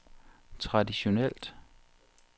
traditionelt